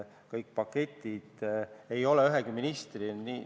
Ükski pakett ei ole üheainsa ministri otsustada.